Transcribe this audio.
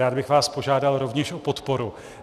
Rád bych vás požádal rovněž o podporu.